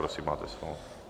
Prosím, máte slovo.